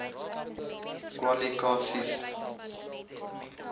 kwali ka sies